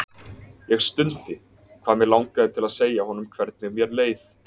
Ég stundi, hvað mig langaði til að segja honum hvernig mér leið.